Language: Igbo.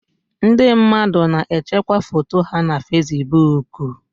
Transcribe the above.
Ndị mmadụ na-echekwa foto ha na Fesibuku.